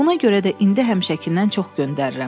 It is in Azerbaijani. Buna görə də indi həmişəkindən çox göndərirəm.